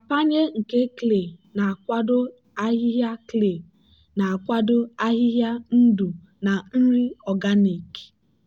nrapanye nke clay na-akwado ahịhịa clay na-akwado ahịhịa ndụ na nri organic.